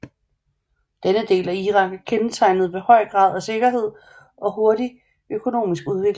Denne del af Irak er kendetegnet ved høj grad af sikkerhed og hurtig økonomisk udvikling